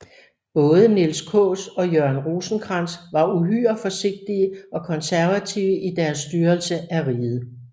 Både Niels Kaas og Jørgen Rosenkrantz var uhyre forsigtige og konservative i deres styrelse af riget